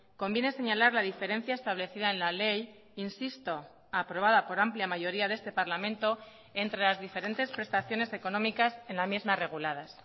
conviene señalar la diferencia establecida en la ley insisto aprobada por amplia mayoría de este parlamento entre las diferentes prestaciones económicas en la misma reguladas